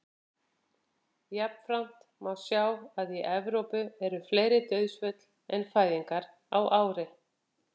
jafnframt má sjá að í evrópu eru fleiri dauðsföll en fæðingar á ári